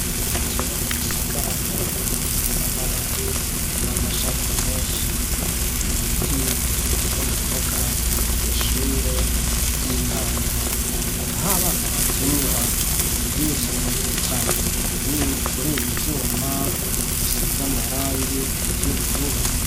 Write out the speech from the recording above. Igiti kinini gisagaraye gifise amababi n'amashami menshi, n'ibiti biteye mu mbuga kwishure ry'intango aho abana bakinira bizungurutsa kuribi vyuma bisize amarangi y'ubururu.